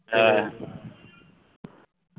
হ্যাঁ